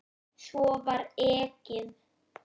Svo var ekið.